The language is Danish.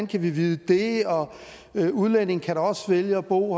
kan vide det og udlændinge kan da også vælge at bo